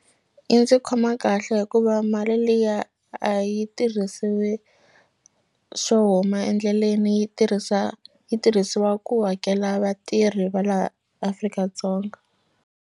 Yi ndzi khoma kahle hikuva mali liya a yi tirhisiwi swo huma endleleni yi tirhisa yi tirhisiwa ku hakela vatirhi va laha Afrika-Dzonga.